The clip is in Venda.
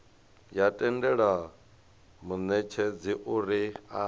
ya tendela munetshedzi uri a